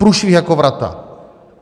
Průšvih jako vrata!